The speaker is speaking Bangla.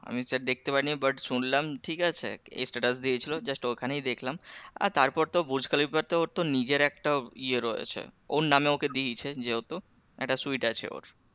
আমি সব দেখতে পাইনি but শুনলাম ঠিক আছে status দিয়ে ছিল just ওখানেই দেখলাম আর তারপর তো বুর্জ খলিফা তো ওর তো নিজের একটা ইয়ে রয়েছে ওর নামে ওকে দিয়েছেন যেহেতু একটা আছে ওর,